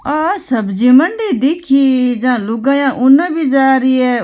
आ सब्जी मंडी दिखी जहां लुगाया उन भी जा रही है।